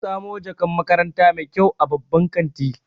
Na samu jakan makaranta mai kyau a babban kanti.